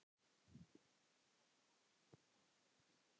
Edda: Og hvað gerist þá?